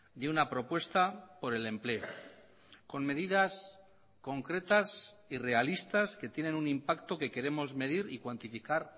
de una propuesta por el empleo con medidas concretas y realistas que tienen un impacto que queremos medir y cuantificar